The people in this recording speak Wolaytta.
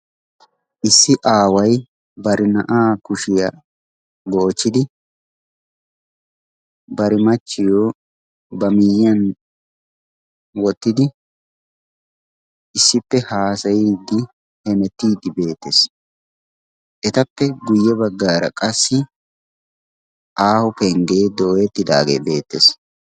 issi aawai barina'aa kushiyaa goochchidi barimachchiyo ba miyyiyan wottidi issippe haasayiiddi hemettiidi beettees. etappe guyye baggaara qassi aaho penggee dooyettidaagee beettees.